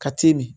Ka timi